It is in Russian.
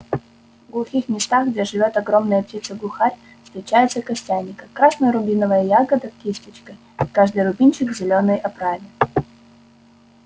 в глухих местах где живёт огромная птица глухарь встречается костяника красно-рубиновая ягода кисточкой и каждый рубинчик в зелёной оправе